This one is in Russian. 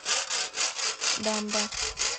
дамбо